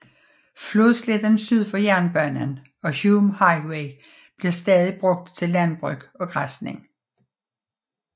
Flodsletten syd for jernbanen og Hume Highway bliver stadig brugt til landbrug og græsning